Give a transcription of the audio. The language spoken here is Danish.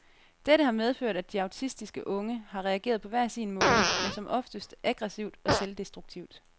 Dette har medført, at de autistiske unge har reageret hver på sin måde, men som oftest aggressivt og selvdestruktivt.